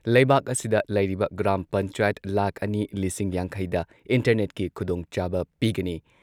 ꯂꯩꯩꯕꯥꯛ ꯑꯁꯤꯗ ꯂꯩꯔꯤꯕ ꯒ꯭ꯔꯥꯝ ꯄꯟꯆꯥꯌꯠ ꯂꯥꯈ ꯑꯅꯤ ꯂꯤꯁꯤꯡ ꯌꯥꯡꯈꯩꯗ ꯏꯟꯇꯔꯅꯦꯠꯀꯤ ꯈꯨꯗꯣꯡꯆꯥꯕ ꯄꯤꯒꯅꯤ꯫